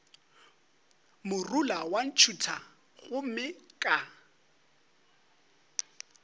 morula wa ntšhutha gomme ka